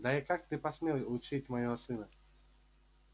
да и как ты посмел учить моего сына